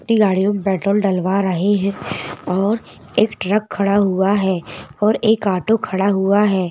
ई गाड़ियों में पेट्रोल डलवा रहे है और एक ट्रक खड़ा हुआ है और एक ऑटो खड़ा हुआ है।